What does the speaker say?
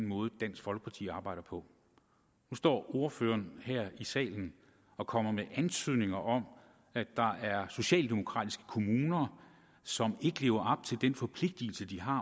måde dansk folkeparti arbejder på nu står ordføreren her i salen og kommer med antydninger om at der er socialdemokratiske kommuner som ikke lever til den forpligtigelse de har